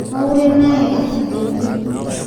Kaurie naaye asikioki